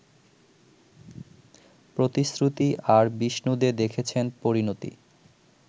‘প্রতিশ্রুতি’ আর বিষ্ণু দে দেখেছেন ‘পরিণতি’